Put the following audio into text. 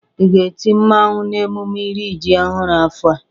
Ị ga-eti mmawụ n'emume iri ji ọhụrụ afọ a?